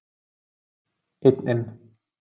Einn inn.